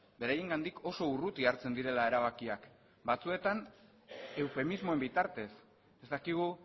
beraiengatik oso urruti hartzen direla erabakiak batzuetan eufemismoen bitartez ez dakigu